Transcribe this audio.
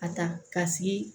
A ta ka sigi